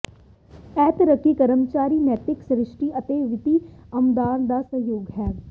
ਇਹ ਤਰੱਕੀ ਕਰਮਚਾਰੀ ਨੈਤਿਕ ਸੰਤੁਸ਼ਟੀ ਅਤੇ ਵਿੱਤੀ ਆਮਦਨ ਦਾ ਸੰਯੋਗ ਹੈ